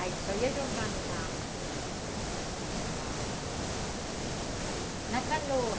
Aí só ia jogando na... na... na canoa.